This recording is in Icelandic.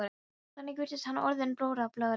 Þannig virtist hann orðinn blóraböggull allra.